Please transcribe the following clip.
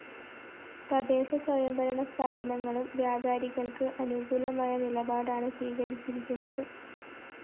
തദ്ദേശസ്വയം ഭരണസ്ഥാപനങ്ങളും വ്യാപാരികള്‍ക്ക് അനുകൂലമായ നിലപാടാണ് സ്വീകരിച്ചിരിക്കുന്നത്